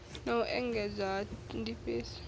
na u engedzwa ha ndifhiso